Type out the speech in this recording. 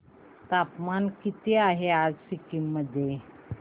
तापमान किती आहे सिक्किम मध्ये